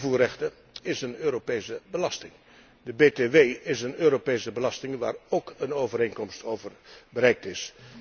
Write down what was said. Invoerrechten zijn een Europese belasting, de BTW is een Europese belasting, waar ook een overeenkomst over bereikt is.